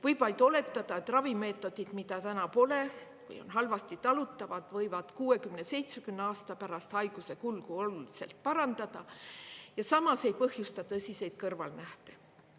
Võib vaid oletada, et ravimeetodid, mida täna pole või on halvasti talutavad, võivad 60–70 aasta pärast haiguse kulgu oluliselt parandada ja samas ei põhjusta tõsiseid kõrvalnähte.